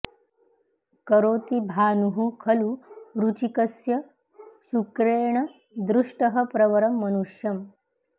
करोति भानुः खलु वृचिकस्यः शुक्रेण दृष्टः प्रवरं मनुष्यम्